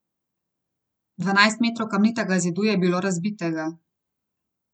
Dvanajst metrov kamnitega zidu je bilo razbitega.